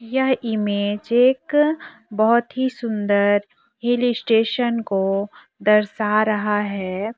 यह इमेज एक बहोत ही सुंदर हिल स्टेशन को दर्शा रहा है।